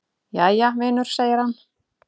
"""Jæja, vinur segir hann."""